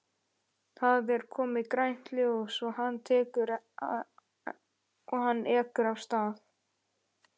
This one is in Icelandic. Það er komið grænt ljós og hann ekur af stað.